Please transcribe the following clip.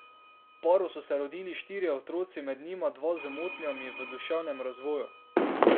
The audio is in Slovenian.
Paru so se rodili štirje otroci, med njimi dva z motnjami v duševnem razvoju.